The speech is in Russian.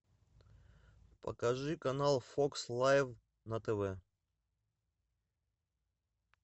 покажи канал фокс лайф на тв